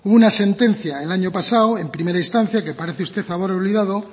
hubo una sentencia el año pasado en primera instancia que parece usted haber olvidado